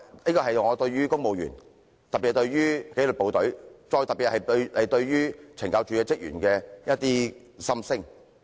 這是我對於公務員，特別是紀律部隊，尤其針對懲教署職員的一些心聲。